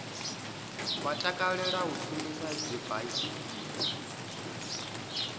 vha takalela u shumisa dzibaisigila